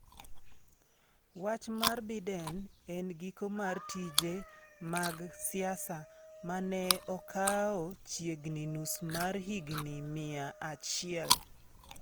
Wach mar Biden en giko mar tije mag siasa ma ne okawo chiegni nus mar higni mia achiel.